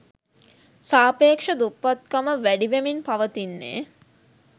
සාපේක්‍ෂ දුප්පත්කම වැඩිවෙමින් පවතින්නේ